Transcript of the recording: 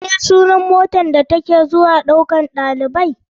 Me sunar motar da take zuwa maɗaukan ɗalibai ta ɗauko ɗalibai?